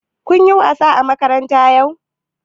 Kun yi wasa a makaranta yau?